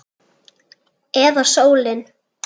Eða sólin?